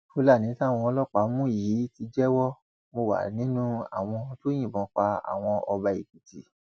fúlàní táwọn ọlọpàá mú yìí ti jẹwọ mo wà nínú àwọn tó yìnbọn pa àwọn ọba èkìtì